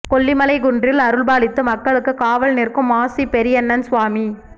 கொல்லிமலை குன்றில் அருள்பாலித்து மக்களுக்கு காவல் நிற்கும் மாசி பெரியண்ணன் சுவாமி